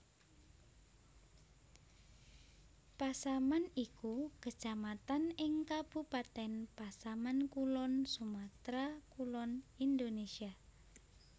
Pasaman iku Kecamatan ing Kabupatèn Pasaman Kulon Sumatra Kulon Indonesia